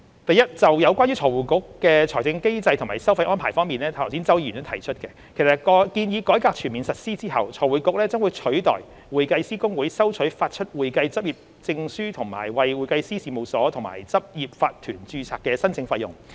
第一，就有關財匯局的財政機制及收費安排方面，正如剛才周議員所提出，建議改革全面實施後，財匯局將取代會計師公會收取發出會計執業證書和為會計師事務所及執業法團註冊的申請費用。